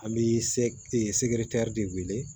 An bɛ se de wele